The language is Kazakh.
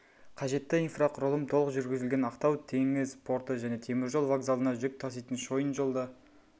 қажетті инфрақұрылым толық жүргізілген ақтау теңіз порты мен темір жол вокзалына жүк таситын шойын жол да